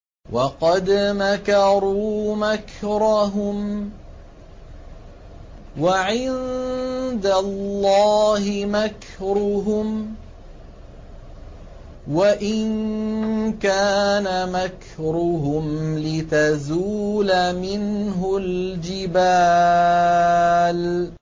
وَقَدْ مَكَرُوا مَكْرَهُمْ وَعِندَ اللَّهِ مَكْرُهُمْ وَإِن كَانَ مَكْرُهُمْ لِتَزُولَ مِنْهُ الْجِبَالُ